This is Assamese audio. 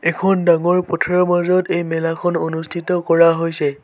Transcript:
এখন ডাঙৰ পথাৰৰ মাজত এই মেলাখন অনুষ্ঠিত কৰা হৈছে।